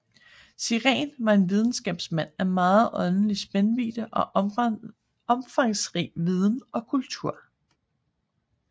Sirén var en videnskabsmand af megen åndelig spændvidde og omfangsrig viden og kultur